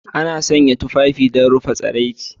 Ana sanya tufafi don rufe tsiraici.